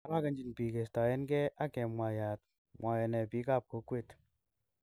Arogenji pig kestoen ge ag kemwayat."mwoe ne pig ap kwokwet"